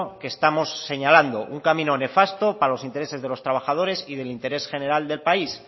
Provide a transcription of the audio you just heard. que estamos señalando un camino nefasto para los intereses de los trabajadores y del interés general del país